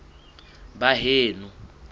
baheno